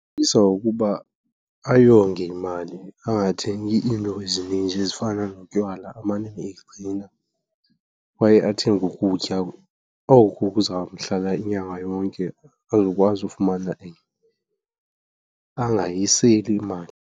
Ndingamcebisa ukuba ayonge imali angathengi iinto ezininzi ezifana notywala. Amane eyigcina kwaye athenge ukutya oku kuzamhlala inyanga yonke azokwazi ufumana enye, angayiseli imali.